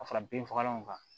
Ka fara binfagalanw kan